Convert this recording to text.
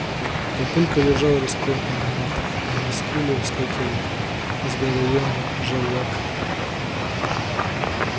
папулька лежал распёртый на матах а на скуле вскакивал здоровённый желвак